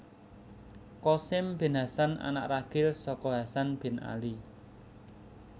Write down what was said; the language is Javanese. Qasim bin Hasan Anak ragil saka Hasan bin Ali